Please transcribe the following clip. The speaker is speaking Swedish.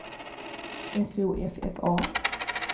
S O F F A